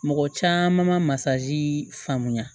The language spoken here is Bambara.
Mɔgɔ caman masa faamuya